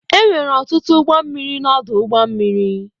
Enwere ọtụtụ ụgbọ mmiri na ọdụ ụgbọ mmiri.